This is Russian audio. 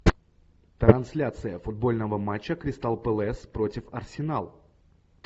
трансляция футбольного матча кристал пэлас против арсенал